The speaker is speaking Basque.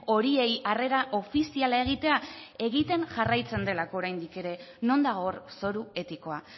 horiei harrera ofiziala egitea egiten jarraitzen delako oraindik ere non dago hor zoru etikoa